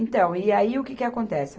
Então, e aí o que que acontece?